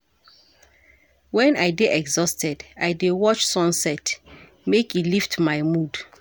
Wen I dey exhausted, I dey watch sunset make e lift my mood.